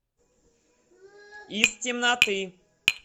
из темноты